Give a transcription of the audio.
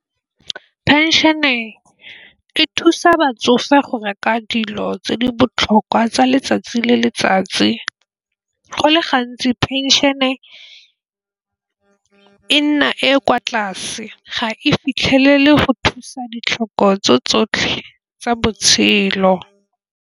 Phenšene e thusa batsofe go reka dilo tse di botlhokwa tsa letsatsi le letsatsi. Go le gantsi phenšene e nna e e kwa tlase ga e fitlhelele go thusa ditlhoko tso tsotlhe tsa botshelo.